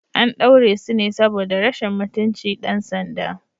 An daure su ne saboda rashin mutunci ɗan sanda.